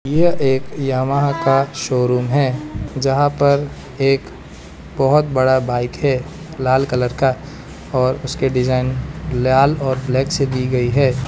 यह एक यामाहा का शोरूम है जहां पर एक बहोत बड़ा बाइक है लाल कलर का और उसके डिजाइन लाल और ब्लैक से दी गई है।